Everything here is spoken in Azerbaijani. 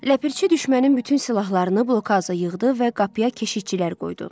Ləpərçi düşmənin bütün silahlarını blokaza yığdı və qapıya keşikçilər qoydu.